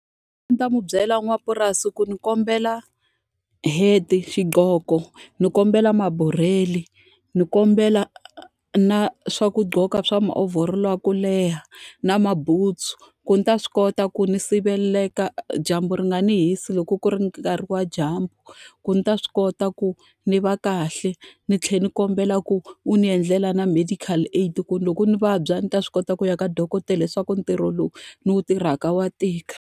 A ndzi ta n'wi byela n'wamapurasi ku ni kombela hat-i, xiqhoko, ni kombela mabureli, ni kombela na leswaku gqoka swa ma overall-o ya ku leha, na mabutsu. Ku ndzi ta swi kota ku ndzi sirheleka dyambu ri nga ni hisi loko ku ri nkarhi wa dyambu. Ku ni ta swi kota ku ndzi va kahle, ni tlhela ni kombela ku u ni endlela na medical aid ku ni loko ndzi vabya ndzi ta swi kota ku ya ka dokodela leswaku ntirho lowu ni wu tirhaka wa tika.